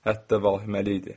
Hətta vahiməli idi.